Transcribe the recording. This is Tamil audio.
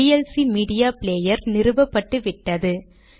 VLC media player நிறுவப்பட்டுவிட்டது